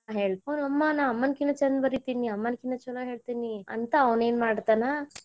ಅಮ್ಮನ್ ಕಿನಾ ಚಂದ್ ಬರೀತಿನಿ ಅಮ್ಮನ್ ಕಿನಾ ಚಲೋ ಹೇಳ್ತಿನಿ ಅಂತಾ ಅವ್ನಯೇನ ಮಾಡತನ